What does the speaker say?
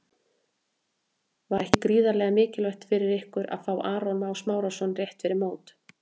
Var ekki gríðarlega mikilvægt fyrir ykkur að fá Aron Má Smárason rétt fyrir mót?